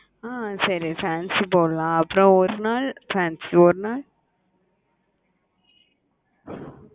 ஆஹ் சரி fancy போடலாம் அப்புறம் ஒரு நாள் fancy ஒரு நாள்